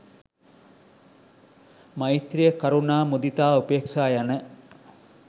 මෛත්‍රිය කරුණා මුදිතා උපේක්ෂා යන